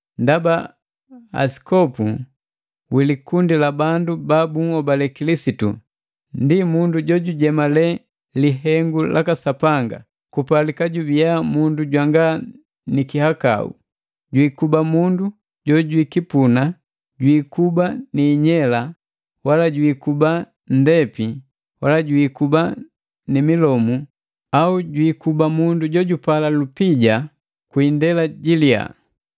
Ndaba asikopu wi likundi la babandu ba bunhobale kilisitu ndi mundu jojujemale lihengu laka Sapanga, kupalika jubiya mundu jwanga ni kihakau. Jwiikuba mundu jojwikipuna, jwiikuba ni inyela wala jwiikuba nndepi wala jwini milomu au jwiikuba mundu jojupala lupija kwi indela ji liya.